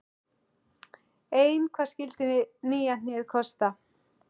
Ein hvað skyldi nýja hnéð kosta?